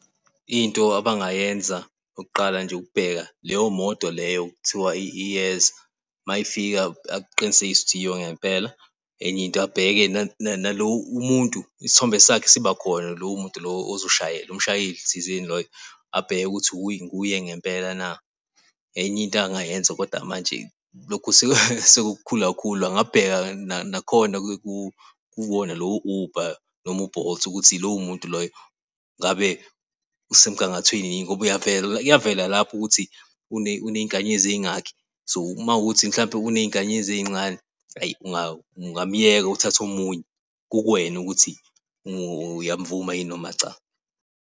Into abangayenza okokuqala nje ukubheka leyo moto leyo okuthiwa iyeza uma y'fika aqinisekise ukuthi yiyo ngempela. Enye into abheke umuntu isithombe sakhe sibakhona lowo muntu lowo ozoshayela umshayeli thizeni loyo abheke ukuthin wuye ngempela na. Enye into engayenza kodwa manje lokhu sekukhulu kakhulu, angabheka nakhona kukona lowo Uber noma u-Bolt ukuthi lowo muntu loyo ngabe usemgangathweni, ngoba kuyavela, uyavela lapha ukuthi uney'nkanyezi ey'ngaki. So, mawukuthi mhlawumbe uney'nkanyezi ey'ncane, eyi, ungamyeka, uthathe omunye kukuwena ukuthi uyavuma yini noma cha.